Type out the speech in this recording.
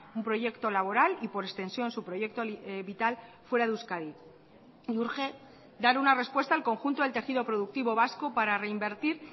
un proyecto laboral y por extensión su proyecto vital fuera de euskadi y urge dar una respuesta al conjunto del tejido productivo vasco para reinvertir